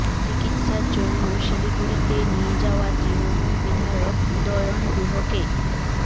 চিকিৎসার জন্য শিলিগুড়িতে নিয়ে যাওয়া তৃণমূল বিধায়ক উদয়ন গুহকে